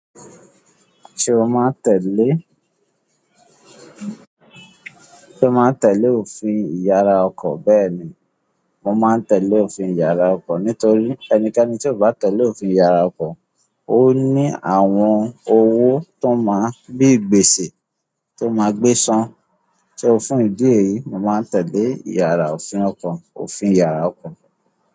Ṣé o máa ń tẹ̀lé, sé o máa ń tẹ̀lé òfin ìyára ọkọ̀? Bẹ́ẹ̀ ni, mo máa ń tẹ̀lé òfin ìyára ọkọ̀ nítorí ẹnikẹ́ni tí ò bá tẹ̀lé òfin ìyára ọkọ̀, ó ní àwọn owó tó máa bíi gbèsè, tó máa gbé ṣán. Só o fún ìdí èyí, mo máa ń tẹ̀lé ìyára òfin ọkọ̀, òfin ìyára ọkọ̀.